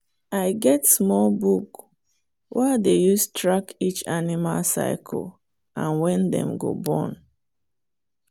i get small book wey i dey use track each animal cycle and when dem go born.